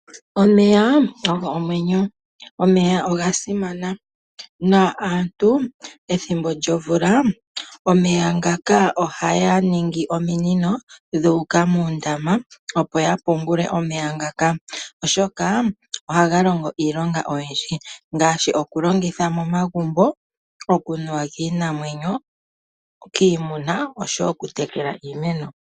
Omeya ogo omwenyo. Omeya ogasimana na aantu ethimbo lyomvula ohaya ningi ominino dhuuka moondama opo yapungule omeya ngaka oshoka ohaga longo iilonga oyindji ngaashi okulongitha momagumbo, okunuwa kiinamwenyo, kiimuna osho wo okutekela iimeno.